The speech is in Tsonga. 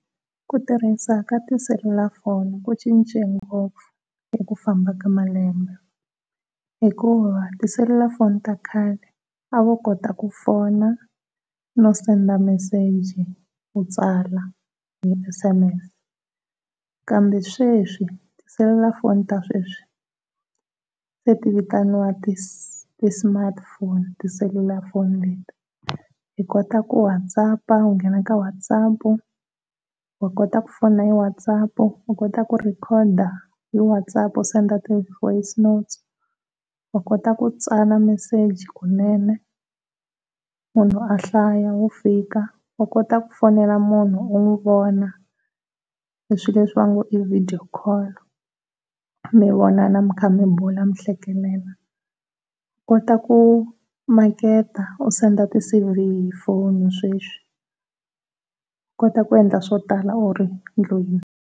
Ku tirhisa ka tiselulafoni ku cince ngopfu hi ku famba ka malembe, hikuva tiselulafoni ta khale a va kota ku fona no send message, kutsala ni ti . Kambe sweswi tiselulafoni sweswi se ti vitaniwa ti smartphone tiselulafoni leti, u kota ku Whatsapp u ngena ka Whatsapp u kota ku fona hi Whatsapp ku u kota ku record hi Whatsapp u send voice note u kota ku tsala message kunene munhu mahlaya wu fika. U kota ku fonela munhu u n'wi vona swilo leswi vo nge i video call, mi vonana mi kha mi n'wi vona mi hlekelela, u kota ku maketa u send ti C_V hi foni sweswi u kota ku endla swo tala u ri ndlwini.